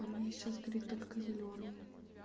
а у меня сейчас горит только зелёный